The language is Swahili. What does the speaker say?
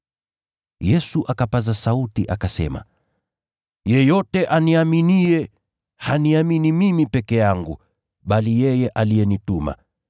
Yesu akapaza sauti akasema, “Yeyote aniaminiye, haniamini mimi peke yangu, bali yeye aliyenituma.